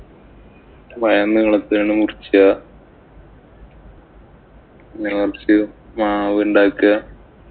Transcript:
പഴം നീളത്തിലങ്ങോട്ടു മുറിക്കുക. പിന്നെ കൊറച്ച് മാവുണ്ടാക്കുക.